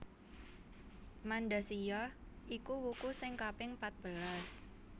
Mandasiya iku wuku sing kaping patbelas